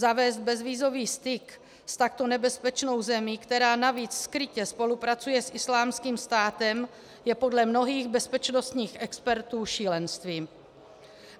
Zavést bezvízový styk s takto nebezpečnou zemí, která navíc skrytě spolupracuje s Islámským státem, je podle mnohých bezpečnostních expertů šílenstvím.